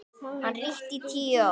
Hann ríkti í tíu ár.